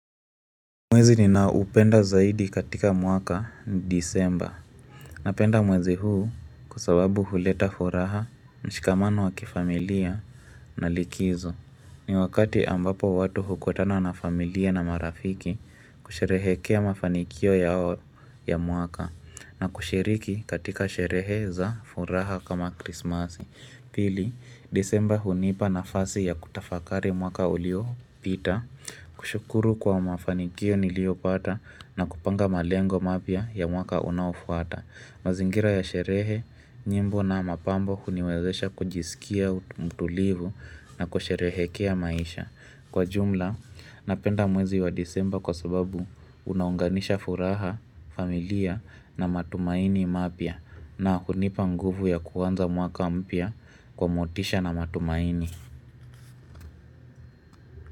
Mwezi ninaoupenda zaidi katika mwaka ni disemba Napenda mwezi huu kwa sababu huleta furaha mshikamano wa kifamilia na likizo ni wakati ambapo watu hukutana na familia na marafiki kusherehekea mafanikio yao ya mwaka na kushiriki katika sherehe za furaha kama krismasi Pili disemba hunipa nafasi ya kutafakari mwaka uliopita kushukuru kwa mafanikio niliyopata na kupanga malengo mapya ya mwaka unaofuata. Mazingira ya sherehe, nyimbo na mapambo huniwezesha kujisikia mtulivu na kusherehekea maisha. Kwa jumla, napenda mwezi wa disemba kwa sababu unaunganisha furaha, familia na matumaini mapya. Na hunipa nguvu ya kuanza mwaka mpya kwa motisha na matumaini.